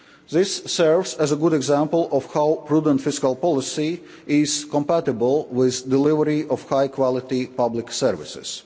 This serves as a good example of how prudent fiscal policy is compatible with the delivery of high quality public services.